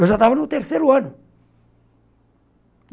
Eu já estava no terceiro ano.